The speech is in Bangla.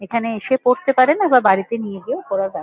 এখানে এসে পড়তে পারেন আবার বাড়িতে নিয়ে গিয়েও পড়া যা--